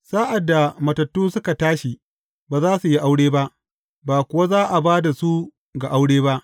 Sa’ad da matattu suka tashi, ba za su yi aure ba, ba kuwa za a ba da su ga aure ba.